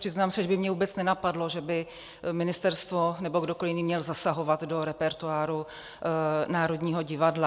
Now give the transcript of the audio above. Přiznám se, že by mě vůbec nenapadlo, že by ministerstvo nebo kdokoliv jiný měl zasahovat do repertoáru Národního divadla.